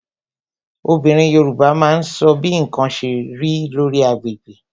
Obìnrin Yorùbá máa ń sọ bí ǹkan ṣe rí, lórí agbègbè